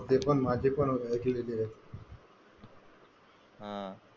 ते पण माझे पण हा.